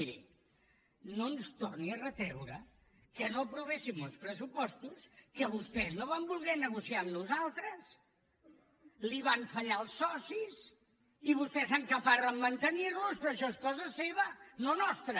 miri no ens torni a retreure que no aprovéssim uns pressupostos que vostès no van voler negociar amb nosaltres li van fallar els socis i vostè s’encaparra a mantenir los però això és cosa seva no nostra